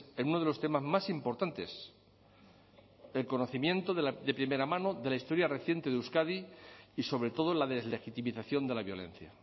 en uno de los temas más importantes el conocimiento de primera mano de la historia reciente de euskadi y sobre todo la deslegitimización de la violencia